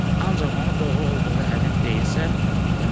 Ancaq onun doğru olduğuna əmin deyilsən.